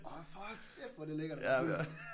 Åh hold kæft hvor er det lækkert at være fuld